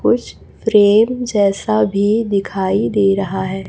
कुछ फ्रेम जैसा भी दिखाई दे रहा है।